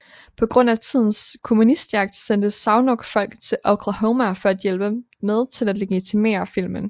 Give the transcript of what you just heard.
På grund af tidens kommunistjagt sendte Zanuck folk til Oklahoma for at hjælpe med til at legitimere filmen